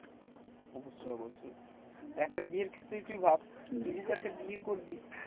অবশ্যই অবশ্যই। একটা বিয়ের ক্ষেত্রেই তুই ভাব, তুই যদি একটা বিয়ে করবি